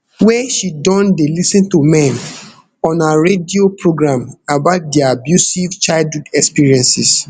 wey she don dey lis ten to men on her radio programme about dia abusive childhood experiences